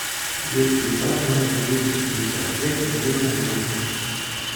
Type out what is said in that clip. детский сад номер двести шестьдесят пять время работы